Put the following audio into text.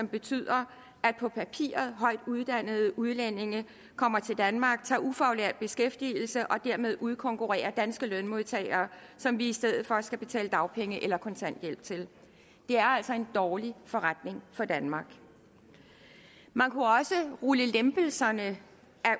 betyder at på papiret højt uddannede udlændinge kommer til danmark tager ufaglært beskæftigelse og dermed udkonkurrerer danske lønmodtagere som vi i stedet for skal betale dagpenge eller kontanthjælp til det er altså en dårlig forretning for danmark man kunne også rulle lempelserne af